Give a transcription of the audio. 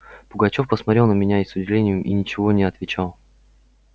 пугачёв посмотрел на меня и с удивлением и ничего не отвечал